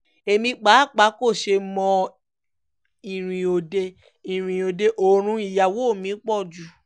èmi pàápàá kò ṣe mọ́ ọ ìrìn òde ìrìn òde òru ìyàwó mi pọ̀ jù